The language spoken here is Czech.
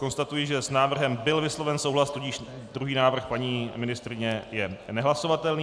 Konstatuji, že s návrhem byl vysloven souhlas, tudíž druhý návrh paní ministryně je nehlasovatelný.